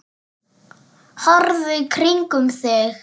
Horfðu í kringum þig!